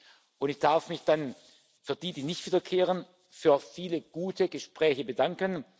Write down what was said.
Und ich darf mich dann bei denen, die nicht wiederkehren, für viele gute Gespräche bedanken.